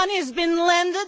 this money has been lent.